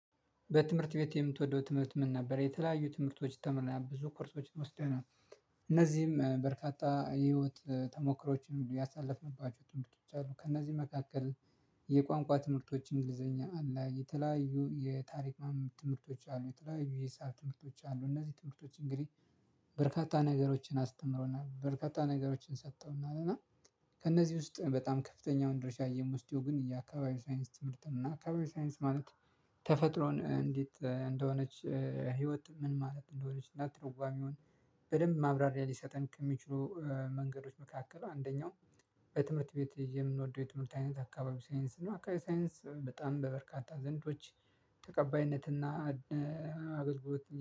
በትምህርት ቤት የምትወደው ትምህርት ምን ነበር? የተለያዩ ትምህርቶች ተምረናል ብዙ ኮርሶችን ወስደናል። እነዚህም በርካታ የህይወት ተሞክሮዎችን ያሳለፍንባቸው ትምህርቶች አሉ። ከእነዚህ መካከል የቋንቋ ትምህርቶች እንግሊዘኛ አለ የተለያዩ የታሪክ ማመን ትምህርቶች አሉ። የተለያዩ የሰር ትምህርቶች አሉ እነዚህ ትምህርቶች እንግዲህ በርካታ ነገሮችን አስተምረውና በርካታ ነገሮችን ሰጥተውና እና ከእነዚህ ውስጥ በጣም ከፍተኛውን ድርሻ እየሞስደው ግን የአካባቢ ሳይንስ ትምህርት እና አካባቢ ሳይንስ ማለት ነው። ተፈጥሮን እንዴት እንደሆነች ህይወት ምን ማለት እንደሆነች እንዳትደዋም ይሆን በደንብ ማብራሪያ ሊሰጠን ከሚችሉ መንገዶች መካከል አንደኛው። በትምህርት ቤት የምንወደው የትምህርት አይነት አካባቢ ሳይንስ ነው። አካባቢ ሳይንስ በጣም በበርካታ ዘንዶች ተቀባይነትና አገልግሎት